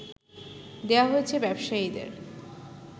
দেয়া হচ্ছে ব্যবসায়ীদের